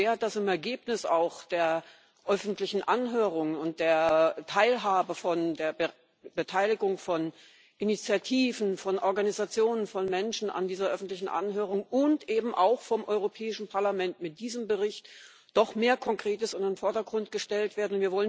Wir hoffen sehr, dass im Ergebnis der öffentlichen Anhörung und der Beteiligung von Initiativen, von Organisationen, von Menschen an dieser öffentlichen Anhörung und eben auch vom Europäischen Parlament mit diesem Bericht doch mehr Konkretes in den Vordergrund gestellt wird.